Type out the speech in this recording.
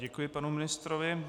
Děkuji panu ministrovi.